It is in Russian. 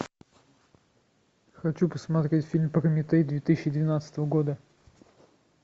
хочу посмотреть фильм прометей две тысячи двенадцатого года